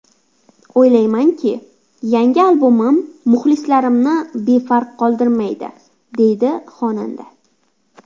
O‘ylaymanki, yangi albomim muxlislarimni befarq qoldirmaydi”, deydi xonanda.